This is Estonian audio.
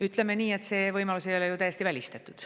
Ütleme nii, et see võimalus ei ole ju täiesti välistatud.